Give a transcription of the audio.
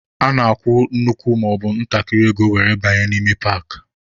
A na-akwụ nnukwu maọbụ ntakịrị ego were banye n'ime paakị.